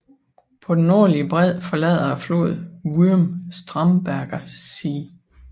På den nordlige bred forlader floden Würm Starnberger See